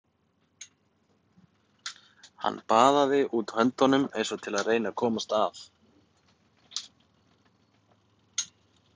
Hann baðaði út höndunum eins og til að reyna að komast að.